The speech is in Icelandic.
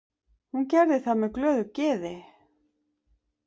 Hún gerði það með glöðu geði.